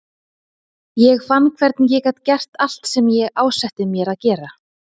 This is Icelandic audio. Ég fann hvernig ég gat gert allt sem ég ásetti mér að gera.